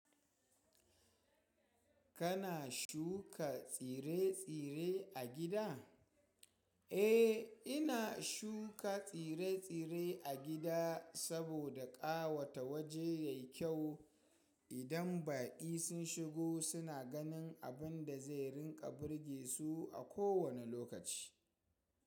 Kana shuka tsire-tsire a gida? Eh, ina shuka tsire-tsire a gida saboda ƙawata waje yayi kyau. Idan baƙi sun shigo suna ganin abun da zai rinƙa burge su a kowane lokaci.